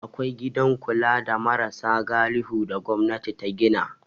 Akwai gidan kula da marasa galihu da gwamnati ta gina.